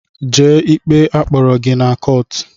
Jee ikpe a kpọrọ gị na kọọt!